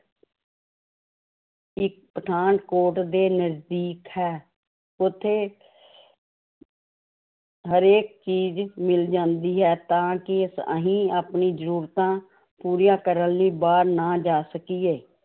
ਪਠਾਨਕੋਟ ਦੇ ਨਜ਼ਦੀਕ ਹੈ ਉੱਥੇ ਹਰੇਕ ਚੀਜ਼ ਮਿਲ ਜਾਂਦੀ ਹੈ, ਤਾਂ ਕਿ ਅਸੀਂ ਆਪਣੀ ਜ਼ਰੂਰਤਾਂ ਪੂਰੀਆਂ ਕਰਨ ਲਈ ਬਾਹਰ ਨਾ ਜਾ ਸਕੀਏ